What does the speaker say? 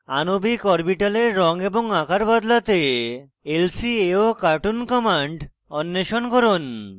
আণবিক অরবিটালের রঙ এবং আকার বদলাতে lcaocartoon কমান্ড অন্বেষণ করুন